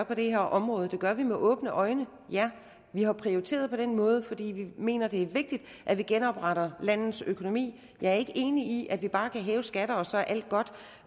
på det her område det gør vi med åbne øjne og ja vi har prioriteret på den måde fordi vi mener det er vigtigt at vi genopretter landets økonomi jeg er ikke enig i at vi bare kan hæve skatterne og så er alt godt